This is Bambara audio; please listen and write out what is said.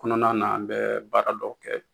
Kɔnɔna na an bɛ baaradɔw kɛ